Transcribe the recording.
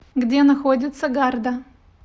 где находится гарда